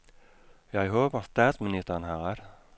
Jeg håber, statsministeren har ret.